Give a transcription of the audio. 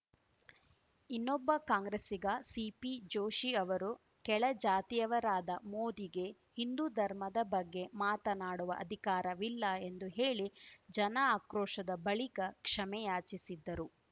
ಇನ್ನೊಬ್ಬ ಕಾಂಗ್ರೆಸ್ಸಿಗ ಸಿಪಿ ಜೋಶಿ ಅವರು ಕೆಳಜಾತಿಯವರಾದ ಮೋದಿಗೆ ಹಿಂದೂ ಧರ್ಮದ ಬಗ್ಗೆ ಮಾತಾಡುವ ಅಧಿಕಾರವಿಲ್ಲ ಎಂದು ಹೇಳಿ ಜನ ಆಕ್ರೋಶದ ಬಳಿಕ ಕ್ಷಮೆಯಾಚಿಸಿದ್ದರು